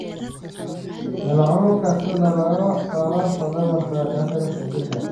Moleculka sidoo kale waa laf dhabarta ka talisa jirka.